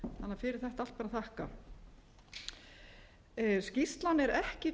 fyrir þetta allt ber að þakka skýrslan er ekki